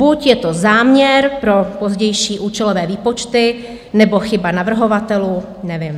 Buď je to záměr pro pozdější účelové výpočty, nebo chyba navrhovatelů, nevím.